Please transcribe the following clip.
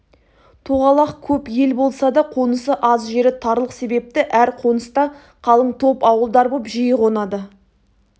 тоғалақ көп ел болса да қонысы аз жері тарлық себепті әр қоныста қалың топ ауылдар боп жиі қонады